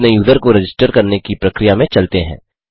अपने यूजर को रजिस्टर करने की प्रक्रिया में चलते हैं